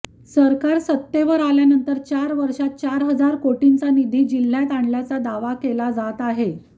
सरकार सत्तेवर आल्यानंतर चार वर्षात चार हजार कोटींचा निधी जिल्ह्यात आणल्याचा दावा केला जात आहे